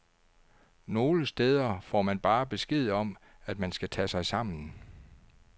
Nogle steder får man bare besked om, at man skal tage sig sammen.